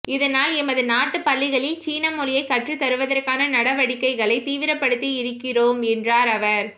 இதனால் எமது நாட்டுப் பள்ளிகளில் சீன மொழியை கற்றுத்தருவதற்கான நடவடிக்கைகளை தீவிரப்படுத்தியிருக்கிறோம் என்றார் அவர்